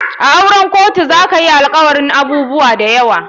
A auren kotu zakayi alkawarin abubuwa dayawa.